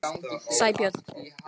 Sæbjörn